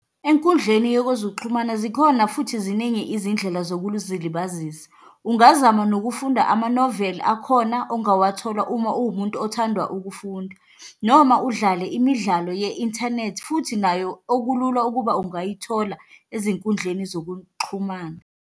Enkundleni yokwezokuxhumana zikhona futhi ziningi izindlela zokuzilibazisa. Ungazama nokufunda ama-novel, akhona ongawathola uma uwumuntu othanda ukufunda, noma udlale imidlalo ye-inthanethi, futhi nayo okulula ukuba ungayithola ezinkundleni zokuxhumana.